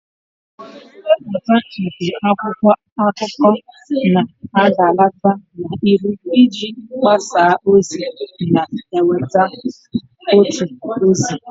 mmepụta nke akwụkwọ akụkọ na-adalata n'ihi iji mgbasa ozi na-enweta otu ozi